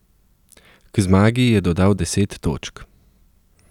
K zmagi je dodal deset točk.